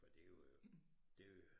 Det jo øh det